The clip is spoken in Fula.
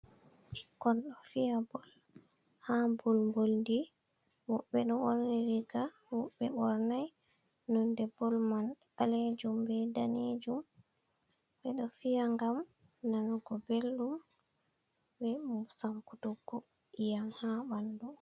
Bikon ɗo fiya bollnha bolboldi. Wobbe ɗo burni riga wobe bornai. Nonɗe boll man balejum be ɗanejum. Be ɗo fiya gam nanugo beldum be sankugo iyam ha banɗu.